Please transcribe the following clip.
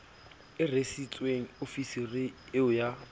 o rwesitsweng ofisiri eo ya